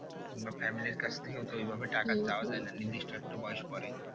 কিংবা family র কাছ থেকেও তো ওই ভাবে যায় না নিদিষ্ট একটা বয়স পরে